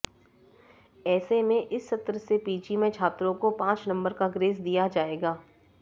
ऐसे में इस सत्र से पीजी में छात्रों को पांच नंबर का ग्रेस दिया जाएगा